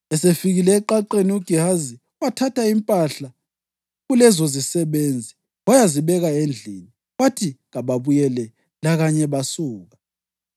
Esefikile eqaqeni uGehazi, wathatha impahla kulezozisebenzi wayazibeka endlini. Wathi kababuyele, lakanye basuka.